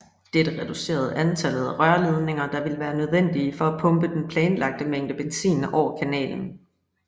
Dette reducerede antallet af rørledninger der ville være nødvendige for at pumpe den planlagte mængde benzin over Kanalen